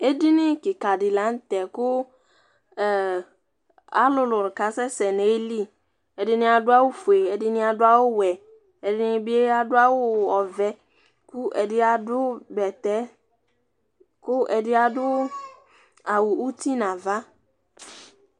Edini kika di la n'tɛ kʋ alʋlʋni ka sɛsɛ n'ayili, ɛdini adʋ awʋ fue, ɛdini adʋ awʋ wɛ, ɛdini bi adʋ awʋ ɔvɛ, kʋ ɛdi adʋ bɛtɛ, kʋ ɛdi adʋ awʋ uti n'ava